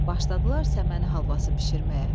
Başladılar səməni halvası bişirməyə.